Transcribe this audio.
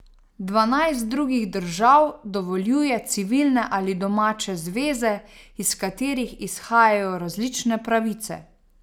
Dvanajst drugih držav dovoljuje civilne ali domače zveze, iz katerih izhajajo različne pravice.